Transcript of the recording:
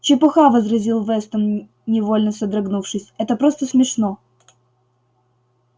чепуха возразил вестон невольно содрогнувшись это просто смешно